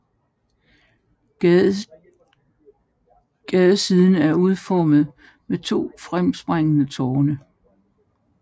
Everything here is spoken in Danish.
Gadesiden er udformet med to fremspringende tårne